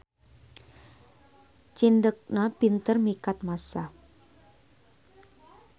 Cindekna pinter mikat massa.